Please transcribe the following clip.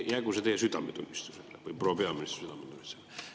Jäägu see teie südametunnistusele või proua peaministri südametunnistusele.